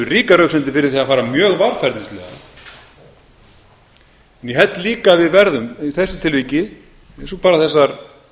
ríkar röksemdir fyrir því að fara mjög varfærnislega ég held líka að við verðum í þessu tilviki eins og bara þessar